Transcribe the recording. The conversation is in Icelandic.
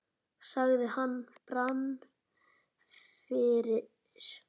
sagði hann og brann fyrir.